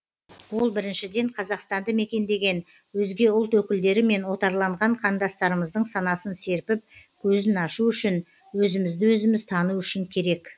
ол біріншіден қазақстанды мекендеген өзге ұлт өкілдері мен отарланған қандастарымыздың санасын серпіп көзін ашу үшін өзімізді өзіміз тану үшін керек